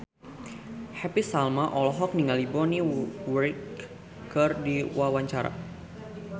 Happy Salma olohok ningali Bonnie Wright keur diwawancara